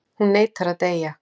Hún neitar að deyja.